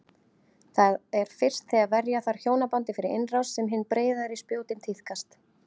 Það er fyrst þegar verja þarf hjónabandið fyrir innrás sem hin breiðari spjótin tíðkast.